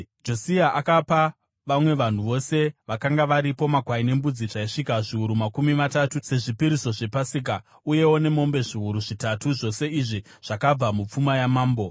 Josia akapa vamwe vanhu vose vakanga varipo makwai nembudzi zvaisvika zviuru makumi matatu sezvipiriso zvePasika, uyewo nemombe zviuru zvitatu, zvose izvi zvakabva mupfuma yamambo.